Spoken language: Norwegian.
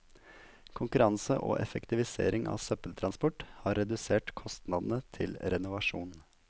Konkurranse og effektivisering av søppeltransport har redusert kostnadene til renovasjon.